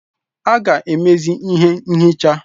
A ga-emezi ihe nchicha.